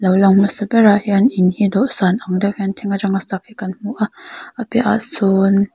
lo lang hmasa ber ah hian in hi dawhsan ang deuh hian thing atanga sak hi kan hmu a a piah ah sawn--